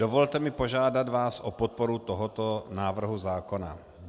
Dovolte mi požádat vás o podporu tohoto návrhu zákona.